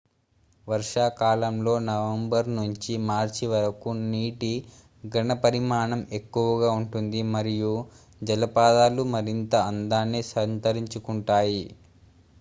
వర్షాకాలంలో నవంబర్ నుంచి మార్చి వరకు నీటి ఘన పరిమాణం ఎక్కువగా ఉంటుంది మరియు జలపాతాలు మరింత అందాన్ని సంతరించుకుంటాయి